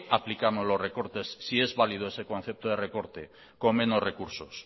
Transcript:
aplicamos los recortes si es valido ese concepto de recorte con menos recursos